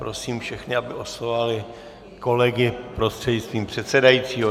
Prosím všechny, aby oslovovali kolegy prostřednictvím předsedajícího.